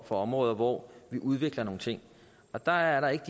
områder hvor vi udvikler nogle ting der er